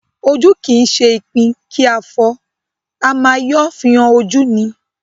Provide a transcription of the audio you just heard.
Ojú kì í ṣe ipin kí a fọ́ ọ, a má yọ́ fi han ojú ni